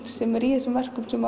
sem er í þessum virkum sem